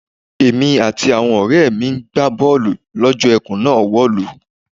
Èmi àti àwo̩n ò̩ré̩ mi ni à ń gbá bó̩ò̩lù ló̩jó̩ e̩kùn náà wò̩lú.